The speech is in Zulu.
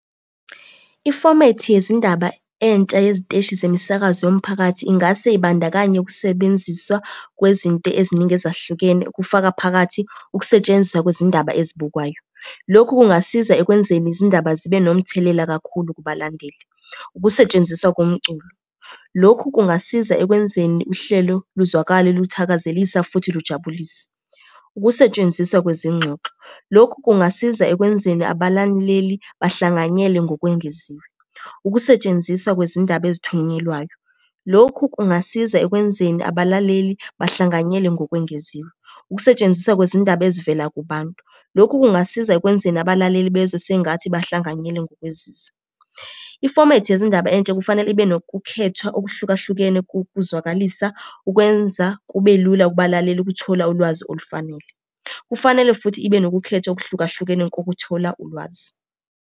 Ifomethi yezindaba entsha yeziteshi zemisakazo yomphakathi ingase ibandakanye ukusebenziswa kwezinto eziningi ezahlukene, kufaka phakathi ukusetshenziswa kwezindaba ezibukwayo. Lokhu kungasiza ekwenzeni izindaba zibe nomthelela kakhulu kubalandeli. Ukusetshenziswa komculo, lokhu kungasiza ekwenzeni uhlelo luzwakale luthakazelisa futhi lujabulisa. Ukusetshenziswa kwezingxoxo, lokhu kungasiza ekwenzeni abalaleli bahlanganyele ngokwengeziwe. Ukusetshenziswa kwezindaba ezithunyelwayo, lokhu kungasiza ekwenzeni abalaleli bahlanganyele ngokwengeziwe. Ukusetshenziswa kwezindaba ezivela kubantu, lokhu kungasiza ekwenzeni abalaleli bezwe sengathi bahlanganyele ngokwezizwe. Ifomethi yezindaba entsha kufanele ibe nokukhethwa okuhlukahlukene kokuzwakalisa ukwenza kube lula kubalaleli ukuthola ulwazi olufanele. Kufanele futhi ibe nokukhethwa okuhlukahlukene kokuthola ulwazi.